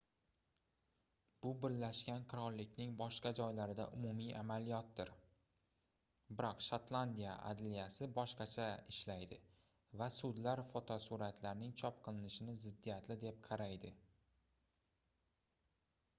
bu birlashgan qirollikning boshqa joylarida umumiy amaliyotdir biroq shotlandiya adliyasi boshqacha ishlaydi va sudlar fotosuratlarning chop qilinishini ziddiyatli deb qaraydi